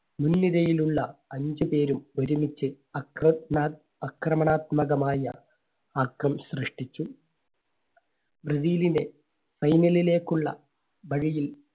ഞൊടിയിടയിലുള്ള അഞ്ചു പേരും ഒരുമിച്ച് അക്രമണാ~അക്രമണാത്മകമായ ആക്കം സൃഷ്ടിച്ചു. റിവെല്ലിനേ final ലേക്ക് ഉള്ള വഴിയിൽ